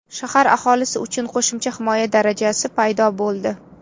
Shahar aholisi uchun qo‘shimcha himoya darajasi paydo bo‘ldi.